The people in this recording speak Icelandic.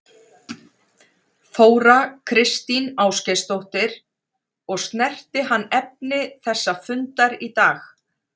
Þóra Kristín Ásgeirsdóttir: Og snerti hann efni þessa fundar í dag?